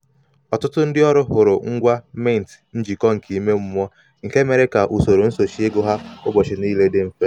ọtụtụ ndị ọrụ hụrụ ngwa mint njikọ nke ime mmụọ nke mere ka usoro nsochị ego ha ụbọchị niile dị mfe.